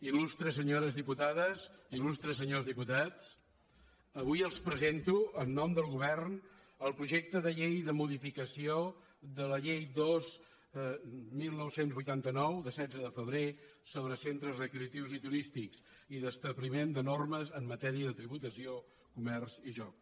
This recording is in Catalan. il·lustres senyores diputades il·lustres senyors diputats avui els presento en nom del govern el projecte de llei de modificació de la llei dos dinou vuitanta nou del setze de febrer sobre centres recreatius turístics i d’establiment de normes en matèria de tributació comerç i joc